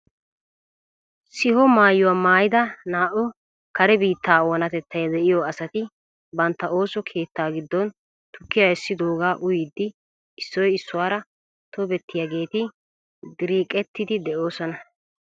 Siho maayuwaa maayida naa"u kare biittaa onatettay de'iyoo asati bantta ooso keettaa giddon tukkiyaa essidoogaa uyiidi issoy issuwaara tobettiyaageti dereqettiidi de'oosona!